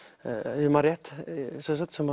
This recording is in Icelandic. ef ég man rétt sem